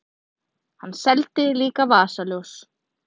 Hann seldi líka vasaljós.